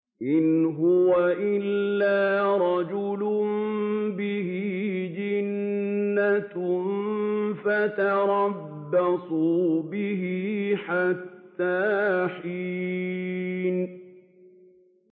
إِنْ هُوَ إِلَّا رَجُلٌ بِهِ جِنَّةٌ فَتَرَبَّصُوا بِهِ حَتَّىٰ حِينٍ